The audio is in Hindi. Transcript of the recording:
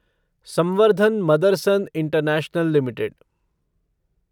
संवर्धन मदरसन इंटरनैशनल लिमिटेड